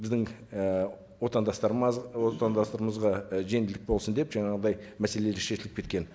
біздің і отандастарымызға і жеңілдік болсын деп жаңағындай мәселелер шешіліп кеткен